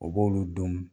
O b'olu don